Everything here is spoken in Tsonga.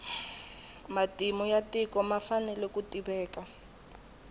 matimu ya tiko ma fanele ku tiveka